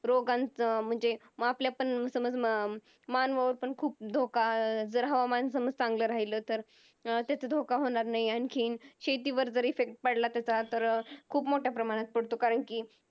रोगांचं म्हणजे मग आपल्या पण समज अं मानवावरपण खूप धोका जर हवामान समज चांगला राहिल तर त्याचा धोका होणार नाही, आणखीन शेतीवर जर Effect पडला तर खूप मोठ्या प्रमाणात पडतो कारण कि